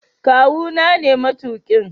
Kawu na ne matuƙin.